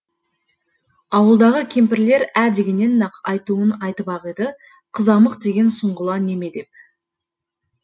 ауылдағы кемпірлер ә дегеннен ақ айтуын айтып ақ еді қызамық деген сұңғыла неме деп